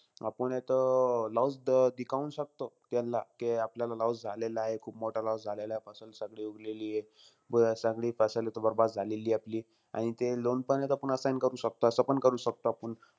आपुन हे तो loss दिखाऊन शकतो त्याला, की आपल्याला loss झालेलाय खूप मोठा loss झालेलाय. सगळी उगलेलीय. अं सगळी हे तो बरबाद झालेलीय आपली. आणि ते loan पण हे तो assign करू शकतो. असंपण करू शकतो आपण.